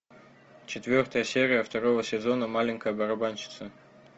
четвертая серия второго сезона маленькая барабанщица